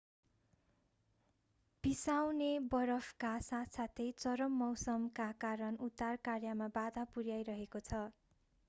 पिसाउने बरफका साथसाथै चरम मौसमका कारण उद्धार कार्यमा बाधा पुर्‍याइरहेको छ।